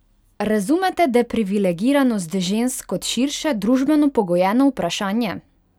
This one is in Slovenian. Razumete deprivilegiranost žensk kot širše, družbeno pogojeno vprašanje?